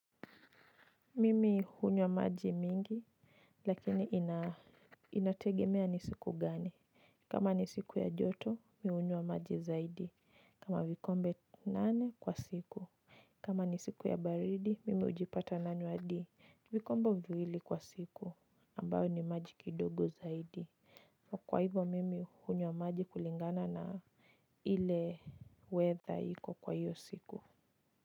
Mimi hunywa maji mengi lakini inategemea ni siku gani. Kama ni siku ya joto mimi hunywa maji zaidi kama vikombe nane kwa siku. Kama ni siku ya baridi mimi ujipata nanywa hadi vikombe viwili kwa siku ambayo ni maji kidogo zaidi. Kwa hivo mimi hunywa maji kulingana na ile weather iko kwa hiyo siku.